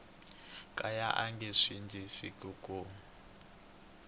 kaya a nge sindzisiwi ku